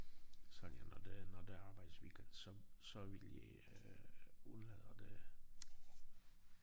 Sonja når det når der er arbejdsweekend så så ville jeg øh undlader det